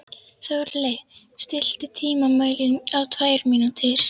Þórleif, stilltu tímamælinn á tvær mínútur.